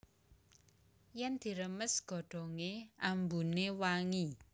Yèn diremes godhongé ambuné wangi